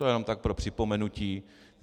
To jenom tak pro připomenutí.